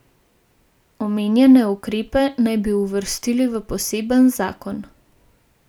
Omenjene ukrepe naj bi uvrstili v poseben zakon.